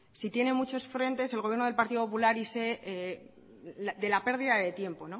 si tiene muchos frentes el gobierno del partido popular y de la pérdida de tiempo